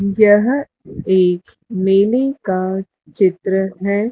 यह एक मेले का चित्र हैं।